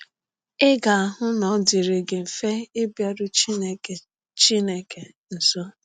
Ị ga-ahụ na ọ dịrị gị mfe ịbịaru Chineke Chineke nso.